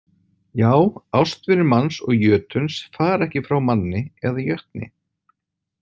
Já, ástvinir manns og jötuns fara ekki frá manni eða jötni.